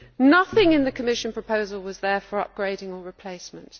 Nothing in the Commission proposal was there for upgrading or replacement.